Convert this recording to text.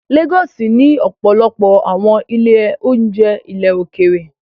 Lagos ní ọ̀pọ̀lọpọ̀ àwọn ilé-oúnjẹ ilẹ̀ òkèèrè